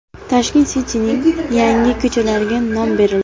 Tashkent City’ning yangi ko‘chalariga nom berildi.